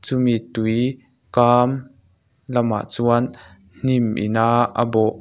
chumi tui kâm lamah chuan hnim in a a bawh--